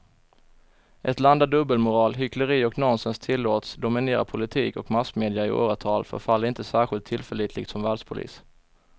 Ett land där dubbelmoral, hyckleri och nonsens tillåts dominera politik och massmedia i åratal förefaller inte särskilt tillförlitligt som världspolis.